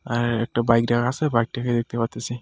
আর একটা বাইক রাখা আছে বাইকটিকে দেখতে পারতেছি.